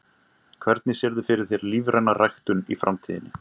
Hvernig sérðu fyrir þér lífræna ræktun í framtíðinni?